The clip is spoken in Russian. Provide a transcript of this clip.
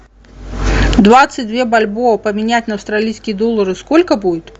двадцать две бальбоа поменять на австралийские доллары сколько будет